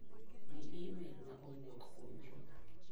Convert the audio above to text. Ng'i imel ma owuok kuom Juma.